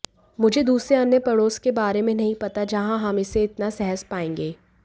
मुझे दूसरे अन्य पड़ोस के बारे में नहीं पता जहां हम इसे इतना सहज पाएंगे